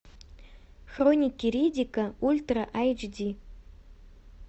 хроники риддика ультра айч ди